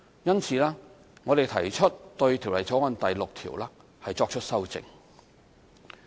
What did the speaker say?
因此，我們提出對《條例草案》第6條作出修正。